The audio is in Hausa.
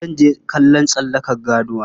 Zan je kallon tsallaka ganuwa.